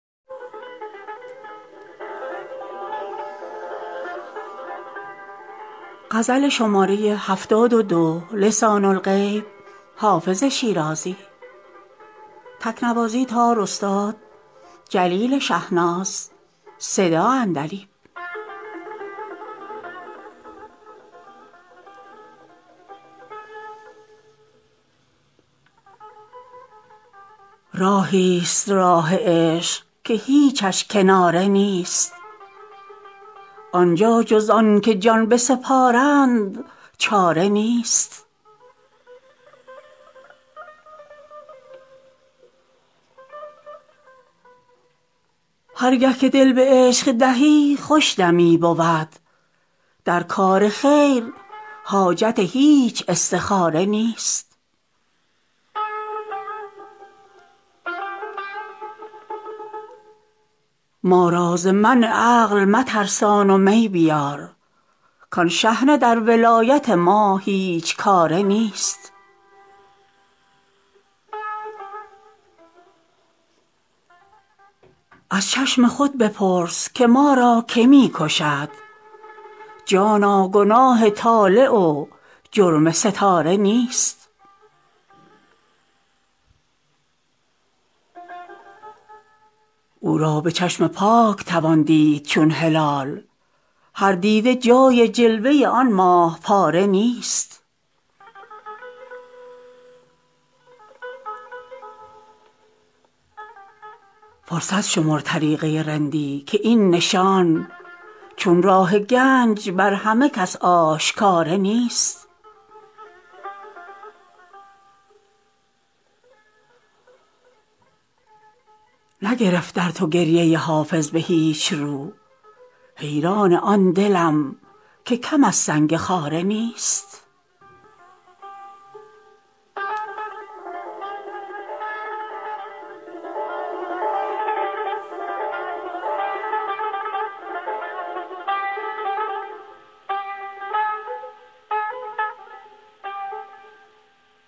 راهی ست راه عشق که هیچش کناره نیست آن جا جز آن که جان بسپارند چاره نیست هر گه که دل به عشق دهی خوش دمی بود در کار خیر حاجت هیچ استخاره نیست ما را ز منع عقل مترسان و می بیار کآن شحنه در ولایت ما هیچ کاره نیست از چشم خود بپرس که ما را که می کشد جانا گناه طالع و جرم ستاره نیست او را به چشم پاک توان دید چون هلال هر دیده جای جلوه آن ماه پاره نیست فرصت شمر طریقه رندی که این نشان چون راه گنج بر همه کس آشکاره نیست نگرفت در تو گریه حافظ به هیچ رو حیران آن دلم که کم از سنگ خاره نیست